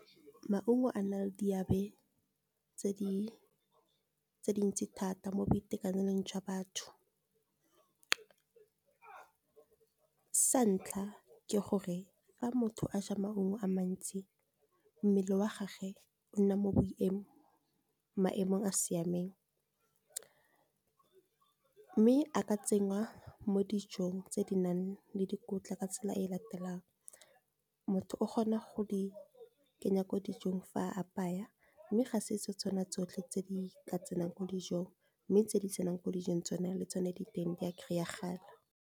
Maungo a na le di ebe tse di dintsi thata mo boitekanelong jwa batho sa ntlha ke gore fa motho a ja maungo a mantsi mmele wa gagwe o nna mo maemong a siameng, mme a ka tsenngwa mo dijong tse di nang le dikotla ka tsela e latelang motho o kgona go di kenya mo dijong fa a apaya, mme ga se se tsona tsotlhe tse di tsenang ko dijong mme tse di tsenang mo dijong tsona le tsone di teng di a kry-a gala.